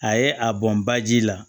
A ye a bɔn ba ji la